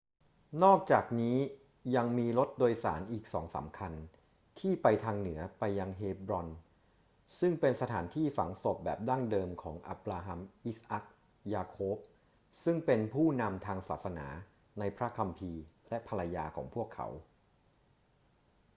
นอกจากนี้ยังมีรถโดยสารอีกสองสามคันที่ไปทางเหนือไปยังเฮบรอน ซึ่งเป็นสถานที่ฝังศพแบบดั้งเดิมของอับราฮัม อิสอัค ยาโคบ ซึ่งเป็นผู้นำทางศาสนาในพระคัมภีร์ และภรรยาของพวกเขา